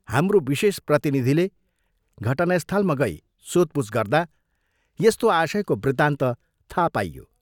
हाम्रो विशेष प्रतिनिधिले घटनास्थलमा गई सोधपूछ गर्दा यस्तो आशयको वृत्तान्त थाहा पाइयो।